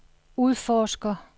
udforsker